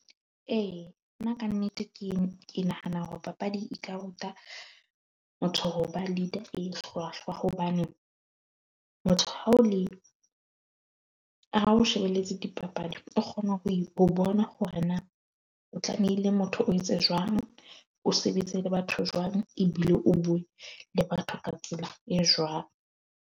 E nna kannete ke nahana hore papadi e tla ruta motho hoba leader e hlwahlwa. Hobane motho ha ole ha o shebeletse dipapadi, o kgona ho ho bona hore na o tlamehile motho o etse jwang, o sebetse le batho jwang ebile o bue le batho ka tsela e jwang.